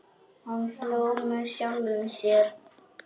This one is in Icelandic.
Hann hló með sjálfum sér.